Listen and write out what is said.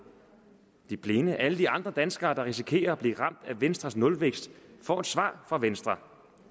de blinde alle de andre danskere der risikerer at blive ramt af venstres nulvækst får et svar fra venstre